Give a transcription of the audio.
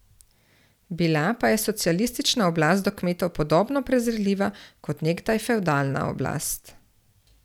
Bila pa je socialistična oblast do kmetov podobno prezirljiva kot nekdaj fevdalna oblast.